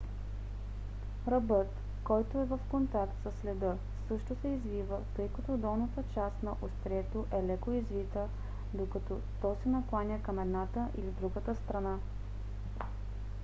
ръбът който е в контакт с леда също се извива тъй като долната част на острието е леко извита докато то се накланя към едната или другата страна